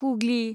Hooghly